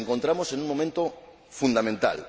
Nos encontramos en un momento fundamental.